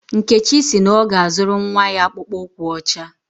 Nkechi si na ọ ga-azụrụ nnwa ya akpụkpọ ụkwụ ọcha